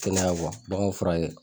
Kɛnɛya wa baganw furakɛ